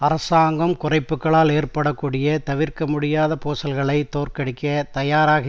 அரசாங்கம் குறைப்புக்களால் ஏற்பட கூடிய தவிர்க்க முடியாத பூசல்களை தோற்கடிக்க தயாராக